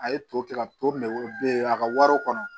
A ye to kɛ ka to ne be a ka wariw kɔnɔ